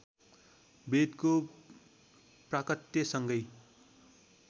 वेदको प्राकट्य संगै